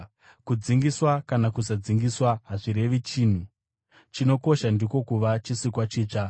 Kudzingiswa kana kusadzingiswa hazvirevi chinhu; chinokosha ndiko kuva chisikwa chitsva.